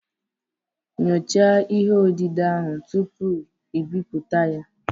Nyochaa ihe odide ahụ tupu i bipụta ya